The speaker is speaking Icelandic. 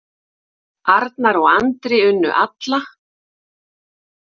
Arnar og Andri unnu alla